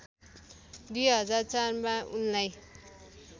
२००४ मा उनलाई